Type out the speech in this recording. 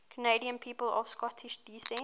canadian people of scottish descent